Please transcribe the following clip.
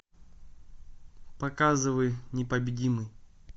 показывай непобедимый